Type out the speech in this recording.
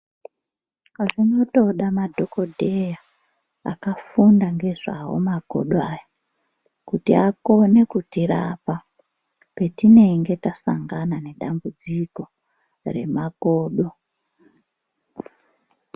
Zvinotoda madhogodheya akafunda ngezvawo makodo aya, kuti akone kutirapa petinenge tasangana nedambudziko remakodo.